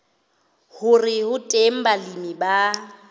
hore ho teng balemi ba